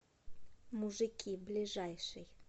мужики ближайший